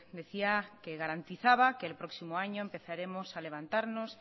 decía que garantizaba que el próximo año empezaremos a levantarnos